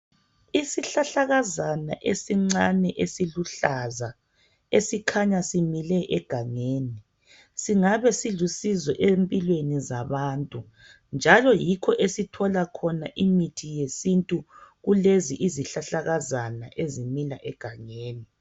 Isihlahlakazana esincane esiluhlaza esikhanya simile egangeni singabe silusizo empilweni zabantu njalo yikho esithola khona imithi yesintu kulezi izihlahlakazana ezimila egangeni.